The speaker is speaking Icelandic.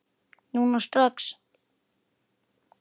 Núna strax?